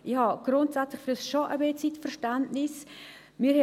Ich habe grundsätzlich schon ein Stück weit Verständnis für das.